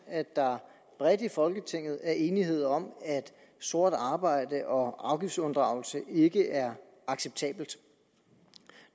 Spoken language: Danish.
at der bredt i folketinget er enighed om at sort arbejde og afgiftsunddragelse ikke er acceptabelt